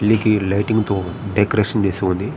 పెళ్లి కి లైటింగ్ తో డెకొరేషన్ చేసి ఉంది.